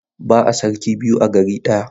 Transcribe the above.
Ba'a sarki biyu a gari ɗaya.